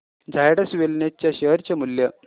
झायडस वेलनेस च्या शेअर चे मूल्य